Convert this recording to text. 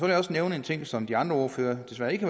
jeg også nævne en ting som de andre ordførere desværre ikke